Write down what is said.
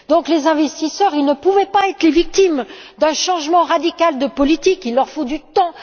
Les investisseurs ne pouvaient pas être les victimes d'un changement radical de politique il leur faut du temps.